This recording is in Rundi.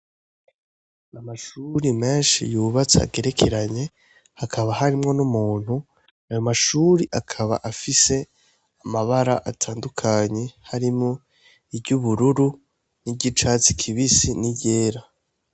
Amashure menshi yubatse agerekeranye hakaba harimwo n'umuntu ayo mashure akaba afise amabara atandukanye harimwo iry'ubururu ni ry'icatsi kibisi ni ryera.